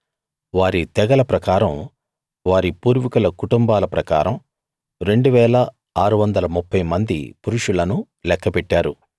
వారి తెగల ప్రకారం వారి పూర్వీకుల కుటుంబాల ప్రకారం 2 630 మంది పురుషులను లెక్కపెట్టారు